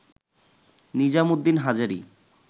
Nizam Uddin Hazari